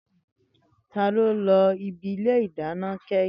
Tani o lo ibi ile ìdáná kẹhin?